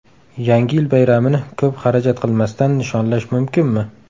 Yangi yil bayramini ko‘p xarajat qilmasdan nishonlash mumkinmi?.